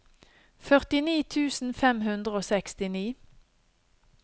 førtini tusen fem hundre og sekstini